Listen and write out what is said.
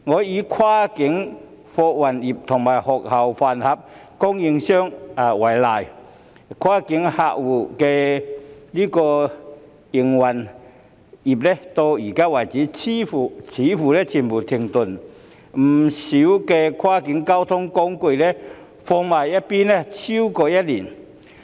以跨境客運業和學校飯盒供應業為例，前者的營運至今似乎已全面停頓，不少跨境交通工具停用逾1年。